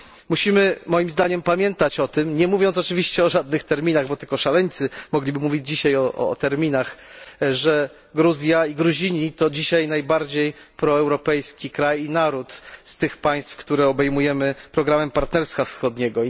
Musimy moim zdaniem pamiętać o tym, nie mówiąc oczywiście o żadnych terminach, bo tylko szaleńcy mogliby mówić dzisiaj o terminach, że Gruzja i Gruzini to dzisiaj najbardziej proeuropejski kraj i naród z tych państw, które obejmujemy programem partnerstwa wschodniego.